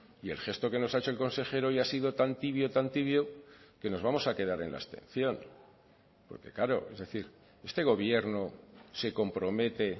y el gesto que nos ha hecho el consejero hoy ha sido tan tibio tan tibio que nos vamos a quedar en la abstención porque claro es decir este gobierno se compromete